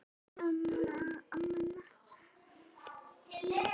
Þeir skuli hætta að kjósa.